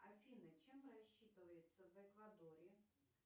афина чем рассчитываются в эквадоре